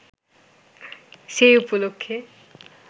সে উপলক্ষ্যে